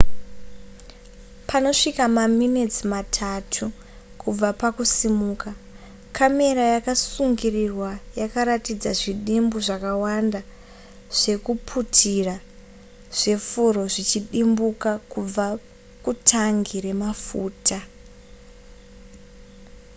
panosvika maminitsi matatu kubva pakusimuka kamera yakasungirwa yakaratidza zvidimbu zvakawanda zvekuputira zvefuro zvichidimbuka kubva kutangi remafuta